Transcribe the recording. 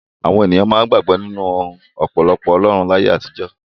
Àwọn ènìyàn máa ń gbàgbọ́ nínú ọ̀pọ̀lọpọ̀ ọlọ́run láyé àtijọ́.